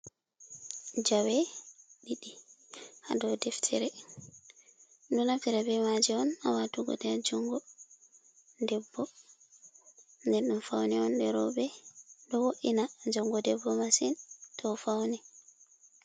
Jawe ɗiɗi ha dow deftere, ɗo naftire bemaje on ha watugo nder junngo debbo,. Den ɗum fauni on ɗe roɓe, ɗo wo’ina junngo debbo masin to fauni.